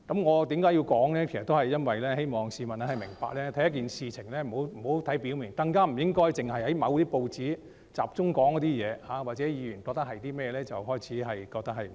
我這樣說是希望市民明白，凡事不要只看表面，更不應只聽從某些報章或議員所說的，便開始覺得不應該談論。